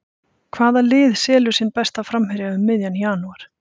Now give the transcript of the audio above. Hvaða lið selur sinn besta framherja um miðjan janúar?